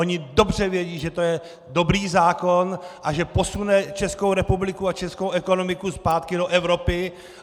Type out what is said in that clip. Oni dobře vědí, že to je dobrý zákon a že posune Českou republiku a českou ekonomiku zpátky do Evropy!